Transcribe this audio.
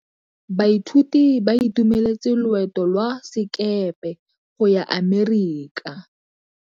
Baithuti ba itumeletse loetô lwa sekepe go ya Amerika.